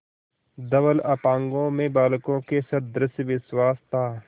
धवल अपांगों में बालकों के सदृश विश्वास था